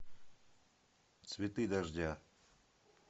цветы дождя